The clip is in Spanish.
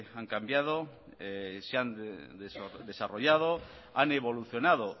han cambiado se han desarrollado han evolucionado